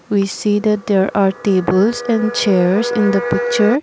we see that there are tables and chairs in the picture.